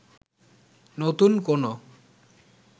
নতুন কোনও